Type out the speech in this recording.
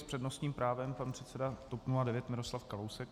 S přednostním právem pan předseda TOP 09 Miroslav Kalousek.